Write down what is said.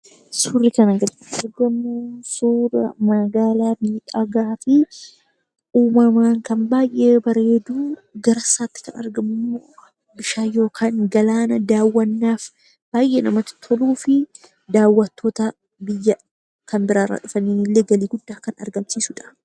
Suurri kana gaditti arginu immoo, suura magaalaa miidhagaa fi uumamaan kan baayyee bareeduu giddusaatti kan argamu immoo bishaan yookaan galaana daawwannaaf baayyee namatti toluu fi daawwattoota biyya kan biraa irraa dhufan illee galii guddaa kan argamsiisudha.